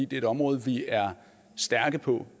det er et område vi er stærke på